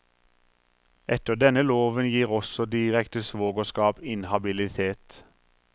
Etter denne loven gir også direkte svogerskap inhabilitet.